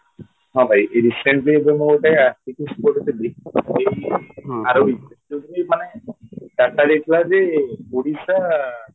ହଁ ଭାଇ recently ଏବେ ମୁଁ ଗୋଟେ articles ପଢ଼ୁଥିଲି ଏଇ ଆର week ଯୋଉଟାକି ମାନେ data ଦେଇଥିଲାଯେ ଓଡିଶା